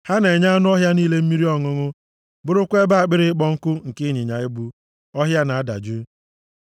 Ha na-enye anụ ọhịa niile mmiri ọṅụṅụ bụrụkwa ebe akpịrị ịkpọ nkụ nke ịnyịnya ibu ọhịa na-adajụ.